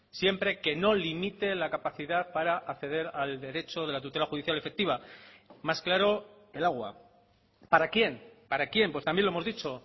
siempre que no limite la capacidad para acceder al derecho de la tutela judicial efectiva más claro el agua para quién para quién pues también lo hemos dicho